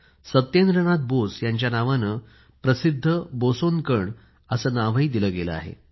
सत्येंद्र नाथ बोस यांच्या नावाने तर प्रसिध्द बोसोन कण असे नावही दिले गेले आहे